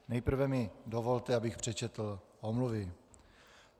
Nejprve mi dovolte, abych přečetl omluvy.